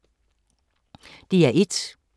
DR1